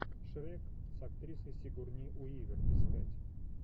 шрек с актрисой сигурни уивер искать